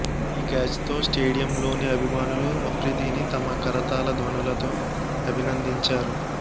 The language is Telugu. ఈ క్యాచ్తో స్టేడియంలోని అభిమానులు అఫ్రిదిని తమ కరతాళ ధ్వనులతో అభినందించారు